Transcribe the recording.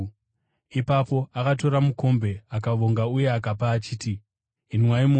Ipapo akatora mukombe, akavonga uye akavapa achiti, “Inwai mose.